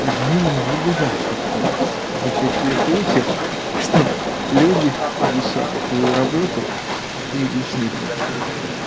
к сожалению не бывает такого в большинстве случаев чтоб люди совмещали свою работу и свои личные качества